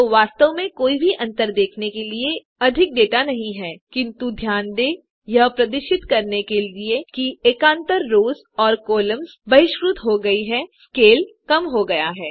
तो वास्तव में कोई भी अंतर देखने के लिए अधिक डेटा नहीं है किन्तु ध्यान दें यह प्रदर्शित करने के लिए कि एकान्तर रोस और कॉलम्स बहिष्कृत हो गयी हैं स्केल कम हो गया है